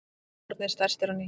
Orðnir stærstir á ný